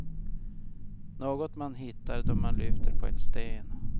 Något man hittar då man lyfter på en sten.